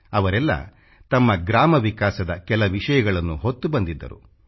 ಅವರೆಲ್ಲ ತಮ್ಮ ಗ್ರಾಮ ವಿಕಾಸದ ಕೆಲ ವಿಷಯಗಳನ್ನು ಹೊತ್ತು ಬಂದಿದ್ದರು